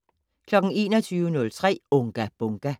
21:03: Unga Bunga!